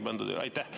Aitäh!